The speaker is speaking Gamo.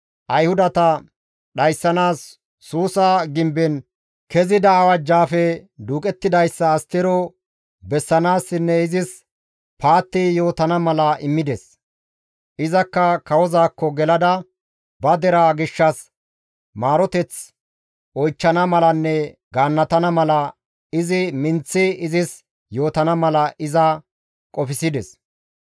Ayhudata dhayssanaas Suusa gimben kezida awajjaappe duuqettidayssa Astero bessanaassinne izis paatti yootana mala immides. Izakka kawozaakko gelada ba deraa gishshas maaroteth oychchana malanne gaannatana mala, izi minththi izis yootana mala iza qofsides.